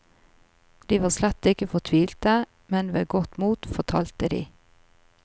De var slett ikke fortvilte, men ved godt mot, fortalte de.